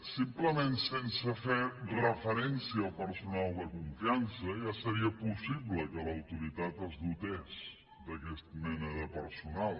simplement sense fer referència al personal de confiança ja seria possible que l’autoritat es dotés d’aquesta mena de personal